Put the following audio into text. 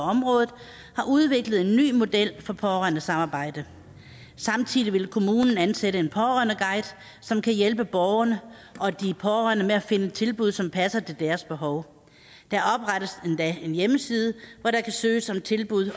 området har udviklet en ny model for pårørendesamarbejde samtidig vil kommunen ansætte en pårørendeguide som kan hjælpe borgerne og de pårørende med at finde tilbud som passer til deres behov der oprettes endda en hjemmeside hvor der kan søges om tilbud